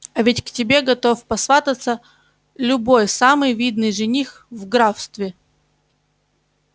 а ведь к тебе готов посвататься любой самый видный жених в графстве